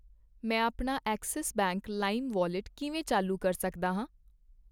ਮੈਂ ਆਪਣਾ Axis bank lime wallet ਕਿਵੇਂ ਚਾਲੂ ਕਰ ਸਕਦਾ ਹਾਂ ?